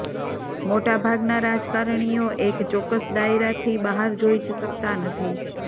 મોટા ભાગના રાજકારણીઓ એક ચોક્કસ દાયરાથી બહાર જોઈ જ શકતા નથી